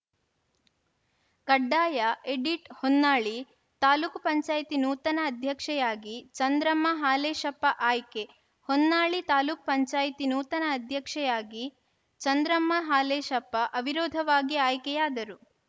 ಕಡ್ಡಾಯ ಎಡಿಟ್‌ ಹೊನ್ನಾಳಿ ತಾಲೂಕ್ ಪಂಚಾಯತ್ ನೂತನ ಅಧ್ಯಕ್ಷೆಯಾಗಿ ಚಂದ್ರಮ್ಮ ಹಾಲೇಶಪ್ಪ ಆಯ್ಕೆ ಹೊನ್ನಾಳಿ ತಾಲೂಕ್ ಪಂಚಾಯಿತಿ ನೂತನ ಅಧ್ಯಕ್ಷೆಯಾಗಿ ಚಂದ್ರಮ್ಮ ಹಾಲೇಶಪ್ಪ ಅವಿರೋಧವಾಗಿ ಆಯ್ಕೆಯಾದರು